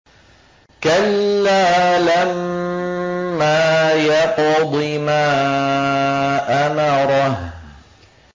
كَلَّا لَمَّا يَقْضِ مَا أَمَرَهُ